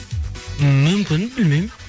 ммм мүмкін білмеймін